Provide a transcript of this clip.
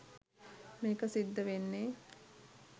මේක සිද්ධ වෙන්නේ.